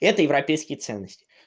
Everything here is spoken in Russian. это европейские ценности